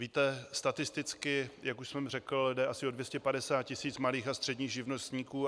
Víte, statisticky, jak už jsem řekl, jde asi o 250 tisíc malých a středních živnostníků.